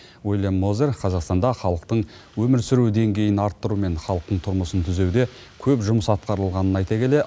уильям мозер қазақстанда халықтың өмір сүру деңгейін арттыру мен халықтың тұрмысын түзеуде көп жұмыс атқарылғанын айта келе